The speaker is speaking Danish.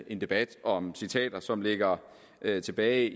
en debat om citater som ligger ligger tilbage